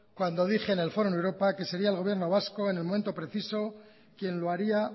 cuando dije en el fórum europa que sería el gobierno vasco en el momento preciso quien lo haría